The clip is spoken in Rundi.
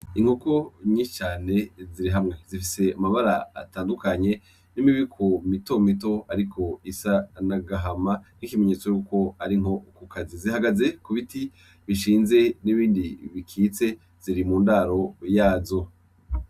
Inkoko nyinshi cane ziri hamwe zifise amabara atandukanye n'imibiko mitomito ariko isa n'agahama nk'ikimenyetso y'uko ari inkokokazi. Zihagaze ku biti bishinze n'ibindi bikitse, ziri mu ndaro yazo.